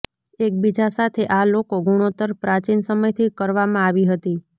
એકબીજા સાથે આ લોકો ગુણોત્તર પ્રાચીન સમયથી કરવામાં આવી હતી